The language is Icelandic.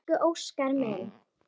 Elsku Óskar minn.